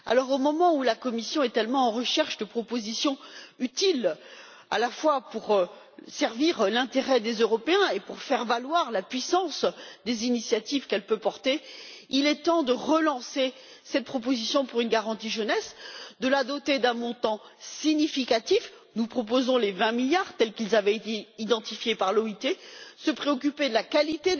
Au moment où la Commission est tellement à la recherche de propositions utiles à la fois pour servir l'intérêt des Européens et pour faire valoir la puissance des initiatives qu'elle peut porter, il est temps de relancer cette proposition pour une garantie jeunesse, de la doter d'un montant significatif nous proposons les vingt milliards tels qu'ils avaient été identifiés par l'OIT de se préoccuper de la qualité